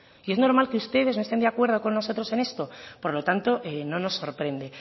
y es normal que ustedes no estén de acuerdo con nosotros en esto por lo tanto no nos sorprende